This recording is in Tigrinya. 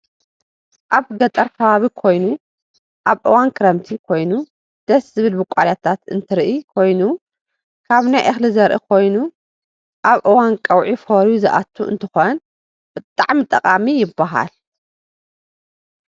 አብ ገጠር ከባብ ኮይኑ አብ እዋን ክረምቲ ኮይኑ ደሰ ዝብል ቡቋልያታት እንትርኢ ኮይኑ ካብ ናይ እክሊ ዘርኢ ኮይኑ አብ አዋን ቀውዒ ፈርዪ ዝአቱ አንትኮን ብጠዓሜ ጠቃሚ ይባሃል።